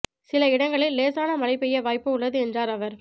சில இடங்களில் லேசான மழை பெய்ய வாய்ப்பு உள்ளது என்றாா் அவா்